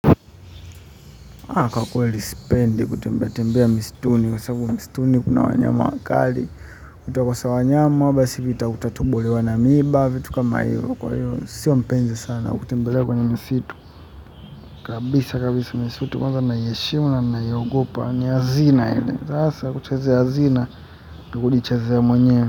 Kwa kweli sipendi kutembeatembea misituni kwa sababu misituni kuna wanyama wakali. Kutokosa wanyama basi vita utatobolewa na miiba vitu kama hivyo kwa hivyo sio mpenzi sana kutembelea kwenye misitu kabisa kabisa misitu kwanza naiheshimu na naiogopa ni hazina ile sasa kuchezea hazina ni kujichezea mwenyewe.